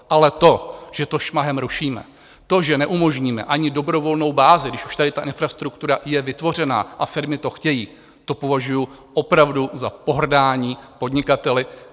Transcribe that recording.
Ale to, že to šmahem rušíme, to, že neumožníme ani dobrovolnou bázi, když už tady ta infrastruktura je vytvořená a firmy to chtějí, to považuji opravdu za pohrdání podnikateli.